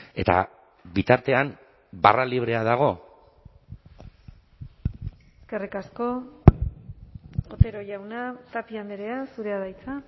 eta bitartean barra librea dago eskerrik asko otero jauna tapia andrea zurea da hitza